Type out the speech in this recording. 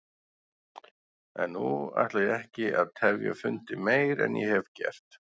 En nú ætla ég ekki að tefja fundinn meir en ég hef gert.